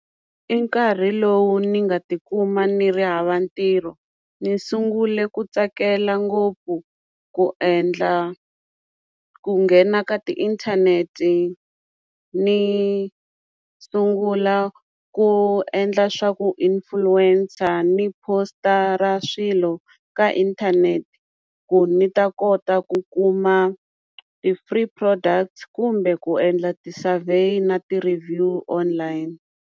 I nkarhi lowu ni nga tikuma ni ri hava ntirho ni sungule ku tsakela ngopfu ku endla ku nghena ka ti inthanete ni sungula ku endla swa ku influencer ni post-ara swilo ka inthanete ku ni ta kota ku kuma ti free product kumbe ku endla ti-survey na ti-review online.